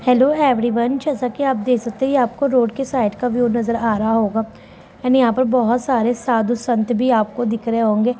Hello everyone ! जैसा की आप देख सकते है आपको रोड के साइड का व्यू नज़र आ रहा होगा एण्ड यहाँ पे आपको बहुत सारे साधु संत भी आपको दिख रहे होंगे |